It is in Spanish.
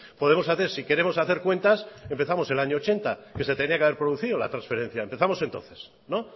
podemos hacer si queremos hacer cuentas empezamos el año ochenta que se tenía que haber producido la transferencia empezamos entonces no